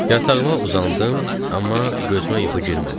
Yatağıma uzandım, amma gözümə yuxu girmədi.